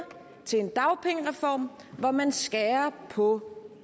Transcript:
til en dagpengereform hvor man skærer på